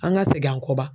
An ka segin an kɔ wa